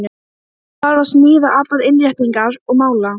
Það var glampandi sól og bjart yfir tilverunni.